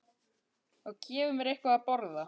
Og gefi mér eitthvað að borða.